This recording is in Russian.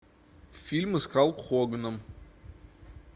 фильмы с халк хоганом